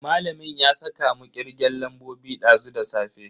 Malamin ya saka mu kirgen lambobi dazu da safe.